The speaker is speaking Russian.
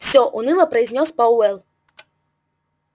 всё уныло произнёс пауэлл